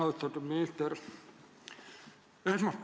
Austatud minister!